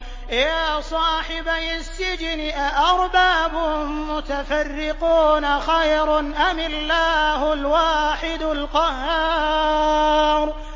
يَا صَاحِبَيِ السِّجْنِ أَأَرْبَابٌ مُّتَفَرِّقُونَ خَيْرٌ أَمِ اللَّهُ الْوَاحِدُ الْقَهَّارُ